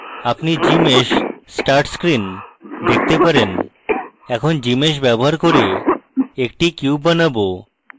আপনি gmsh start screen দেখতে পারেন এখন gmsh ব্যবহার cube একটি cube বানানো